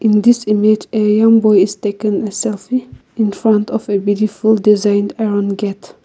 this image a young boy is taken a selfie infront of a beautiful design around the gate.